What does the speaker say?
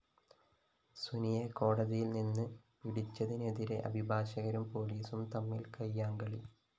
സുനിയെ കോടതിയില്‍ നിന്ന് പിടിച്ചതിനെതിരെ അഭിഭാഷകരും പോലീസും തമ്മില്‍ കയ്യാങ്കളി